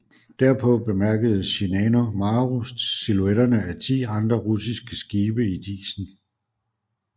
Derpå bemærkede Shinano Maru silhuetterne af ti andre russiske skibe i disen